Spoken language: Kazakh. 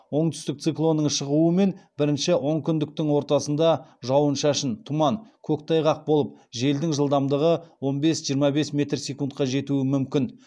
оңтүстік циклонның шығуымен бірінші онкүндіктің ортасында жауын шашын тұман көктайғақ болып желдің жылдамдығы он бес жиырма бес метр секундқа жетуі мүмкін